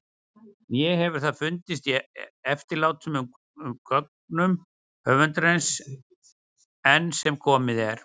Né hefur það fundist í eftirlátnum gögnum höfundarins- enn sem komið er.